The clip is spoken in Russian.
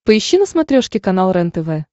поищи на смотрешке канал рентв